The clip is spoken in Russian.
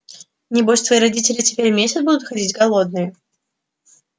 небось твои родители теперь месяц будут ходить голодные